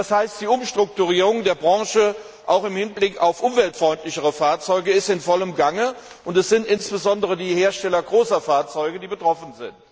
Das heißt, die Umstrukturierung der Branche auch im Hinblick auf umweltfreundlichere Fahrzeuge ist in vollem Gange, und es sind insbesondere die Hersteller großer Fahrzeuge betroffen.